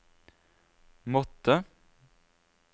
måttet